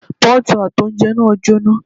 Pọ́ọ̀tù àti oúnjẹ náà jọ́ná.